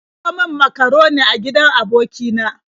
An kawo min makaroni a gidan aboki na.